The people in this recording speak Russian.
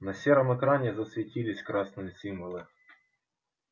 на сером экране засветились красные символы